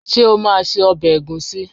Sé wàá se obè ègúsí?